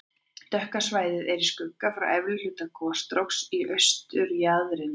Dökka svæðið er í skugga frá efri hluta gosstróksins í austurjaðrinum.